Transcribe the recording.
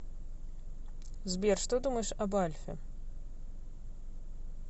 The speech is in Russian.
сбер что думаешь об альфе